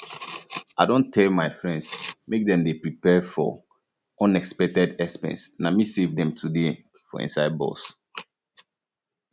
i don tell my um friends make dem dey prepared for um unexpected expense na me save dem today um for inside bus